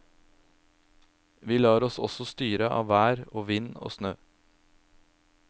Vi lar oss også styre av vær og vind og snø.